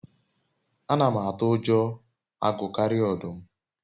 ana m atu ujo agu karia odum